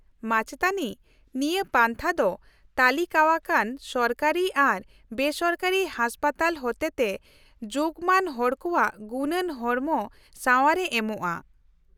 -ᱢᱟᱪᱮᱛᱟᱹᱱᱤ, ᱱᱤᱭᱟᱹ ᱯᱟᱱᱛᱷᱟ ᱫᱚ ᱛᱟᱹᱞᱤᱠᱟᱣᱟᱠᱟᱱ ᱥᱚᱨᱠᱟᱨᱤ ᱟᱨ ᱵᱮᱥᱚᱨᱠᱟᱨᱤ ᱦᱟᱥᱯᱟᱛᱟᱞ ᱦᱚᱛᱮᱛᱮ ᱡᱳᱜᱢᱟᱱ ᱦᱚᱲᱠᱚᱣᱟᱜ ᱜᱩᱱᱟᱱ ᱦᱚᱲᱢᱚ ᱥᱟᱶᱟᱨᱮ ᱮᱢᱚᱜᱼᱟ ᱾